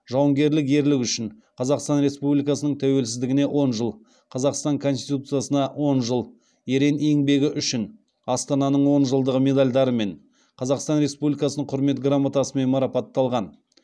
жауынгерлік ерліг үшін қазақстан республикасының тәуелсіздігіне он жыл қазақстан конституциясына он жыл ерен еңбегі үшін астананың он жылдығы медальдарымен қазақстан республикасының құрмет грамотасымен марапатталған